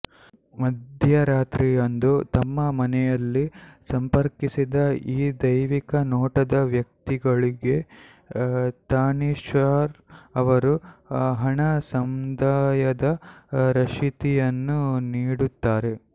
ಮಧ್ಯರಾತ್ರಿಯಂದು ತಮ್ಮ ಮನೆಯಲ್ಲಿ ಸಂಪರ್ಕಿಸಿದ ಈ ದೈವಿಕ ನೋಟದ ವ್ಯಕ್ತಿಗಳಿಗೆ ತಾನೀಶಾಹ್ ಅವರು ಹಣ ಸಂದಾಯದ ರಶೀತಿಯನ್ನು ನೀಡುತ್ತಾರೆ